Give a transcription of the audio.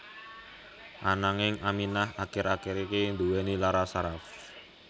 Ananging Aminah akir akir iki nduwèni lara saraf